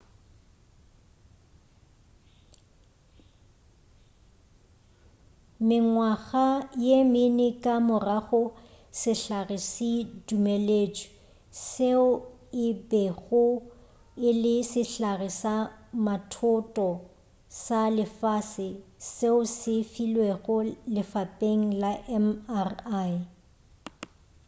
mengwaga ye mene ka morago sehlare se dumeletšwe seo e bego e le sehlare sa mathoto sa lefase seo se filwego lefapeng la mri